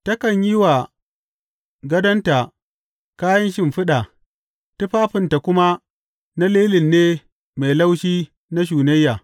Takan yi wa gadonta kayan shimfiɗa; tufafinta kuma na lilin ne mai laushi na shunayya.